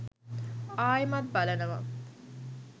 ආයෙමත් බලනවා